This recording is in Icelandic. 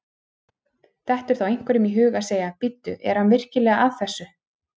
Dettur þá einhverjum í hug að segja: Bíddu, er hann virkilega að þessu?